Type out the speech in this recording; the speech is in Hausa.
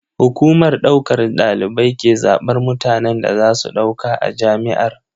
Hukumar ɗaukar ɗalibai ke zaɓar mutanen da za su ɗauka a jami'ar.